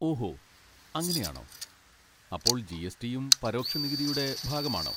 ഓഹോ അങ്ങനെയാണോ, അപ്പോൾ ജി. എസ്. ടി.യും പരോക്ഷ നികുതിയുടെ ഭാഗമാണോ?